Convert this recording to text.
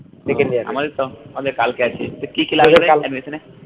আমাদের তো হবে কালকে তো কি কি লাগলো রে admission এ